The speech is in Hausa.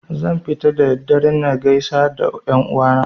Zan fita da dare na gaisar da 'yan uwa na